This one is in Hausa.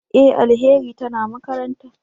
E! Alheri tana makaranta.